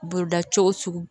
Boloda cogo sugu